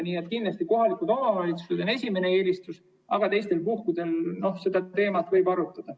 Nii et kindlasti kohalikud omavalitsused on esimene eelistus, aga teistel puhkudel võib seda teemat arutada.